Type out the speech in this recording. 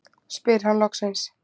spyr hann loksins.